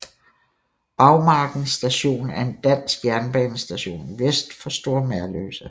Bagmarken Station er en dansk jernbanestation vest for Store Merløse